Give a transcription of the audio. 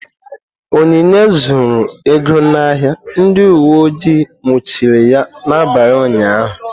Onyinye zuru ego n'ahịa, ndị uweojii nwụchiri ya n'abalị ụnyahụ.